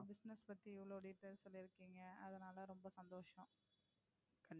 Business பத்தி இவளோ details சொல்லி இருக்கீங்க அதுனால ரொம்ப சந்தோசம்.